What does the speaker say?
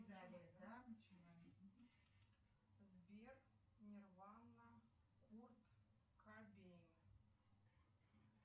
сбер нирвана курт кобейн